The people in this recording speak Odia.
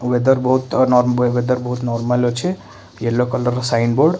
ଓଏଦର ବହୁତ୍ ଓଏଦର ବହୁତ୍ ନର୍ମାଲ ଅଛି ୟେଲୋ କଲର୍ ସାଇନ୍ ବୋର୍ଡ --